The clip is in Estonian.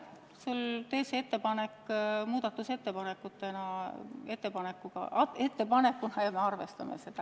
Tee see ettepanek muudatusettepanekuna, me arvestame seda.